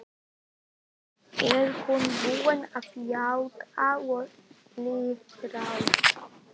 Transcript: Er hún búin að játa og iðrast?